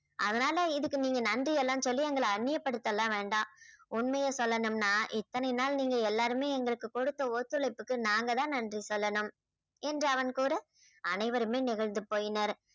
அதனால இதுக்கு நீங்க நன்றி எல்லாம் சொல்லி எங்களை அந்நியப்படுத்த எல்லாம் வேண்டாம். உண்மைய சொல்லணும்னா இத்தனை நாள் நீங்க எல்லாருமே எங்களுக்கு கொடுத்த ஒத்துழைப்புக்கு நாங்க தான் நன்றி சொல்லணும் என்று அவன் கூற அனைவருமே நெகிழ்ந்து போயினர்.